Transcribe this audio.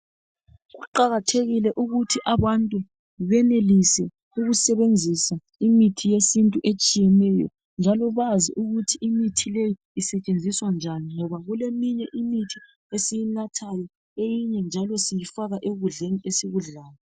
Kuqakathekile ukuthi abantu benelise ukusebenzisa imithi yesintu etshiyeneyo, njalo bazi ukuthi imithi leyi isetshenziswa njani ngoba kuleminye imithi esiyinathayo eyinye njalo siyifaka ekudleni esikudlayo.